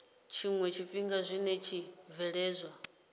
tshiwe tshifhinga zwi tshi bvelela